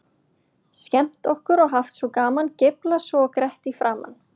Skemmt okkur og haft svo gaman, geiflað svo og grett í framan.